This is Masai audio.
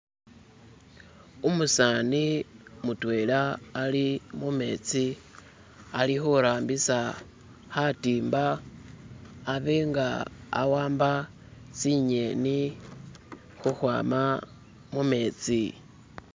umusani mutwela ali mumetsi alihurambisa hatimba abenga awamba tsinyeni huhwama mumetsi